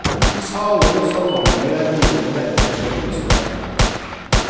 I saler og salonger er bordene dekket og lysene tent.